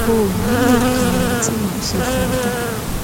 o ò ní í lè ka ohun tí mà á ṣe fún ọ tán